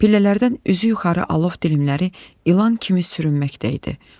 Pillələrdən üzü yuxarı alov dilimləri ilan kimi sürünməkdə idi.